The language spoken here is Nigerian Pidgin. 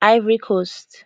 ivory coast